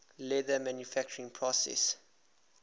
leather manufacturing process